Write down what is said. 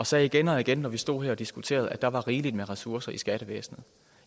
sagde igen og igen når vi stod her og diskuterede at der var rigeligt med ressourcer i skattevæsenet